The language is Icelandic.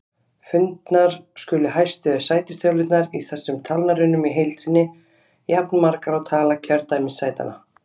Fundnar skulu hæstu sætistölurnar í þessum talnarunum í heild sinni, jafnmargar og tala kjördæmissætanna.